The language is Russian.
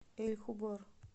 эль хубар